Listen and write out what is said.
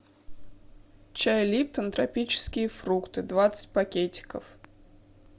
чай липтон тропические фрукты двадцать пакетиков